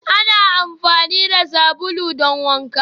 Ana amfani da sabulu don wankewa